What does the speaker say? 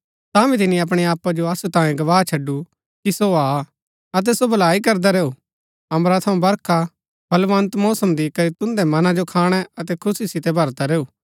तांभी तिनी अपणै आपा जो असु तांये गवाह छडुरा कि सो हा अतै सो भलाई करदा रैऊ अम्बरा थऊँ बरखा फलबन्त मौसम दिकरी तुन्दै मना जो खाणै अतै खुशी सितै भरदा रैऊ